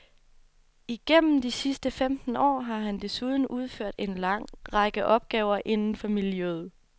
Igennem de sidste femten år har han desuden udført en lang række opgaver inden for miljøret.